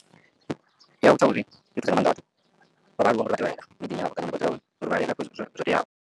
Ndi ya u ita uri i thusa nga maanḓa vhathu vha vhaaluwa ngori vha tevhelela miḓini yavho kana na vhathu avho uri vha reile zwo teaho.